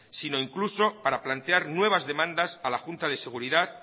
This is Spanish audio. sino incluso para plantear nuevas demandas a la junta de seguridad